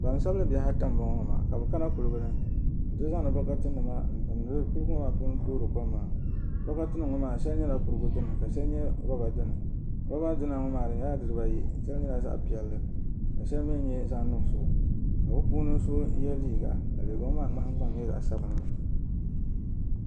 Gbansabili bihi ata n boŋo maa ka bi kana kuligi ni n ti zaŋdi bi gbambihi n timdi kom maa puuni toori kom maa bokati nim ŋo maa shɛli nyɛla kurigu dini ka shɛli nyɛ riba dini roba dina ŋo maa di nyɛla dibayi shɛli nyɛla zaɣ piɛlli ka shɛli nyɛ zaɣ nuɣso ka bi puuni so yɛ liiga ka liiga ŋo maa nahangbaŋ nyɛ zaɣ sabinli